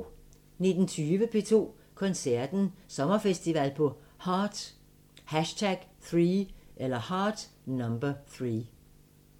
19:20: P2 Koncerten – Sommerfestival på Heart #3